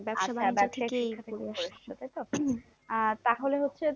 আহ তাহলে হচ্ছে